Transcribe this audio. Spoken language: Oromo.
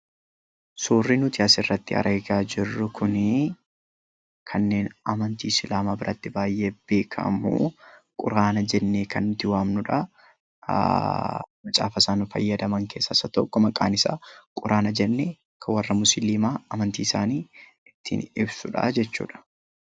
Suurri nuti asirratti argaa jirru kun kanneen amantii Islaamaa biratti baay'ee beekamu Quraana jennee kan nuti waamnudha. Quraanni kun amantii isaanii kan ibsudha.